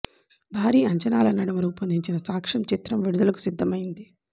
భారీ అంచనాల నడుమ రూపొందిన సాక్ష్యం చిత్రం విడుదలకు సిద్దం అయ్యింది